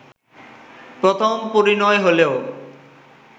প্রথম পরিনয় হলেও